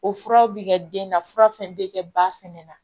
O furaw bɛ kɛ den na fura fɛn fɛn bɛ kɛ ba fɛnɛ na